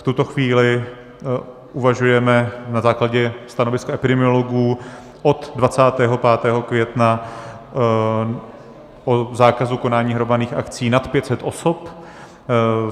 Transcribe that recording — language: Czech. V tuto chvíli uvažujeme na základě stanoviska epidemiologů od 25. května o zákazu konání hromadných akcí nad 500 osob.